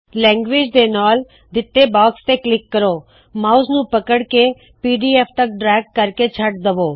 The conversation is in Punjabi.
ਲੈਂਗੁਏਜ ਦੇ ਨਾਲ ਦਿੱਤੇ ਬਾਕਸ ਤੇ ਕਲਿੱਕ ਕਰੋ ਮਾਉਸ ਨੂੰ ਪਕੜ ਕੇ ਪੀਡੀਐਫ ਤਕ ਡ੍ਰੈਗ ਕਰਕੇ ਛੱਡ ਦਵੋ